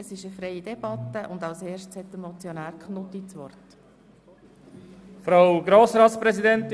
Wir führen eine freie Debatte, und der Motionär hat das Wort.